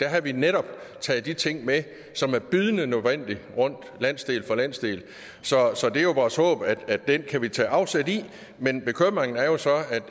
havde vi netop taget de ting med som er bydende nødvendige landsdel for landsdel så så det er jo vores håb at at den kan vi tage afsæt i men bekymringen er så